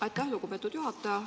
Aitäh, lugupeetud juhataja!